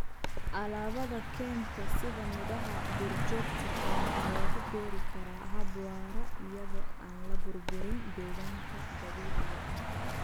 Alaabada kaynta sida midhaha duurjoogta ah waxaa lagu beeri karaa hab waara iyada oo aan la burburin deegaanka dabiiciga ah.